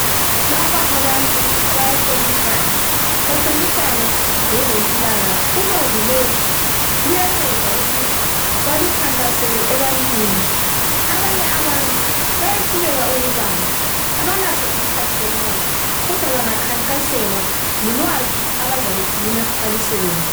Lapha abantu bayahlomisana, bahlomisana ngezempilakahle. Ulwazi lolu luyanceda ukuthi balukhankasele ebantwini. Abanye abantu bayehluleka ukubala. Abalaso isikhathi sokubala kodwa bangakhankaselwa lulwazi abazalugcina balusebenzise.